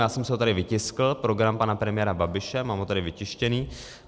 Já jsem si ho tady vytiskl, program pana premiéra Babiše, mám ho tady vytištěný.